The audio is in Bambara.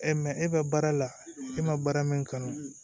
e bɛ baara la e ma baara min kanu